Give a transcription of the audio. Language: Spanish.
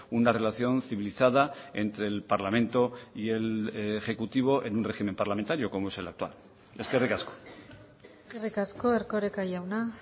una relación civilizada entre el parlamento y el ejecutivo en un régimen parlamentario como es el actual eskerrik asko eskerrik asko erkoreka jauna